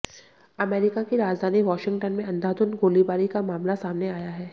America की राजधानी Washington में अंधाधुन गोलीबारी का मामला सामने आया है